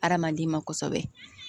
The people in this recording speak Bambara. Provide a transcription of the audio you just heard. Hadamaden ma kosɛbɛ